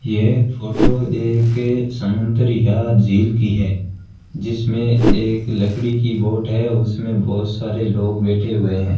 यह फोटो एक समुद्र या झील की है जिसमें एक लकड़ी की बोट है उसमें बहुत सारे लोग बैठे हुए हैं।